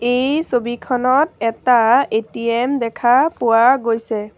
এই ছবিখনত এটা এ_টি_এম দেখা পোৱা গৈছে।